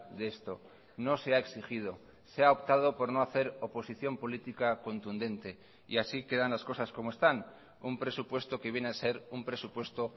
de esto no se ha exigido se ha optado por no hacer oposición política contundente y así quedan las cosas como están un presupuesto que viene a ser un presupuesto